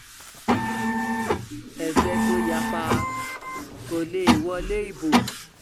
ẹgbẹ́ tó yapa kò lè wọlé ibo